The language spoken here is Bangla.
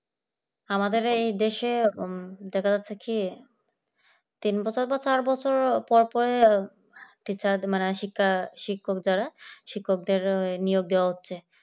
আমাদের এই দেশে ব্যাপার হচ্ছে কি তিন বছর বা চার বছর পর পরে teacher মানে শিক্ষা শিক্ষক যারা শিক্ষকদের নিয়োগ দেওয়া হচ্ছে।